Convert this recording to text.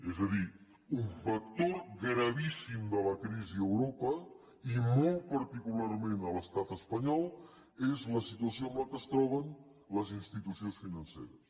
és a dir un vector gravíssim de la crisi a europa i molt particularment a l’estat espanyol és la situació en què es troben les institucions financeres